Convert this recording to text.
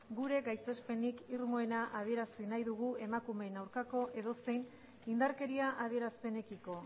gure gaitzespenik irmoena adierazi nahi dugu emakumeen aurkako edozein indarkeria adierazpenekiko